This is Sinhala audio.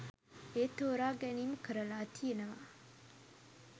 ඒ තෝරා ගැනීම කරලා තියෙනවා.